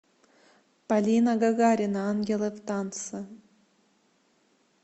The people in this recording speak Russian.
полина гагарина ангелы в танце